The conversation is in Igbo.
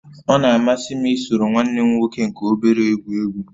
Ọ na-amasị m isoro nwanne m nwoke nke obere egwu egwu